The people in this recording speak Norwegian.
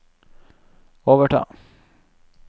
overta